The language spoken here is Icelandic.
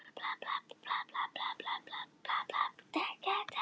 Hin svokölluðu hvítu tígrisdýr eru hvorki albinóar né sérstök deilitegund.